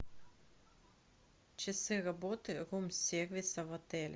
часы работы рум сервиса в отеле